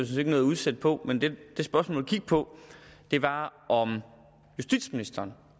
set ikke noget at udsætte på men det spørgsmålet gik på var om justitsministeren